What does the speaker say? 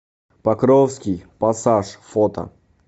покровский пассаж фото